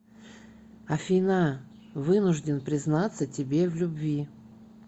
афина вынужден признаться тебе в любви